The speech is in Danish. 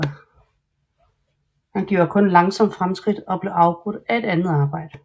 Han gjorde kun langsomt fremskridt og blev afbrudt af andet arbejde